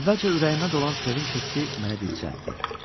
Əvvəlcə ürəyimə dolan sevinc hissi məni dircəltdi.